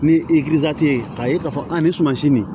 Ni i ye k'a ye k'a fɔ a ni sumasi nin